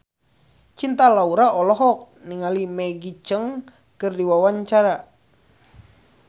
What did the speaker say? Cinta Laura olohok ningali Maggie Cheung keur diwawancara